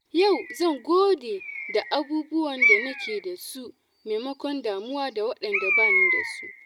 Yau zan gode da abubuwan da nake da su maimakon damuwa da waɗanda ba ni da su.